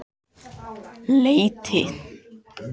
Leiti